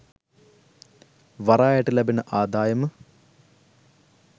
වරායට ලැබෙන ආදායම